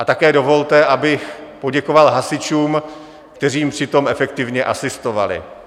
A také dovolte, abych poděkoval hasičům, kteří jim při tom efektivně asistovali.